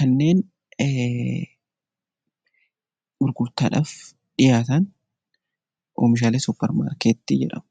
kanneen gurgurtaadhaaf dhiyaatan oomishaalee suupparmaarkeetii jedhamu.